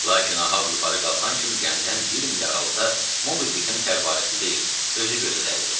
Lakin Ahab yuxarı qalxan kimi gəmidən bir mil aralıda MobiDickin fəvvarəsi deyil, özü gözə dəydi.